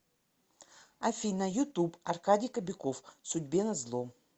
афина ютуб аркадий кобяков судьбе назло